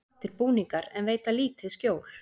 Flottir búningar en veita lítið skjól